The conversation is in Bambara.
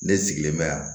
Ne sigilen bɛ yan